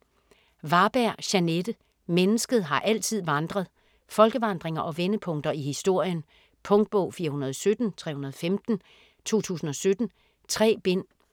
Varberg, Jeanette: Mennesket har altid vandret Folkevandringer og vendepunkter i historien. Punktbog 417315 2017. 3 bind.